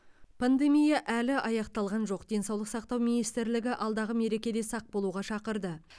пандемия әлі аяқталған жоқ денсаулық сақтау министрлігі алдағы мерекеде сақ болуға шақырды